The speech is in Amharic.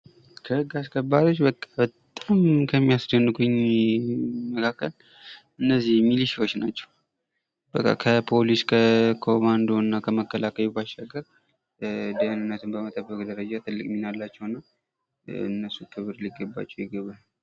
ከህግ አሰከባሪዎች በቃ በጣም ከሚያስደንቁኝ መካከል እነዚህ ሚሊሾች ናቸው። በቃ ከፖሊስ፣ ከኮማንዶ እና ከመከላከያው ባሻገር ደህንነትን በመጠበቅ ደረጃ ትልቅ ሚና አላቸው እና እነሱ ክብር ሊገባቸው ይገባል።